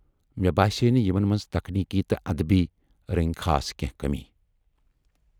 مے باسییہِ نہٕ یِمن مَنز تکنیٖکی تہٕ اَدبی رٔنگۍ خاص کینٛہہ کمٔی۔